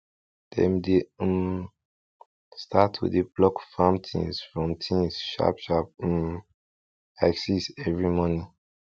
dem dey um start to dey pluck farm things from things sharp sharp um by six every morning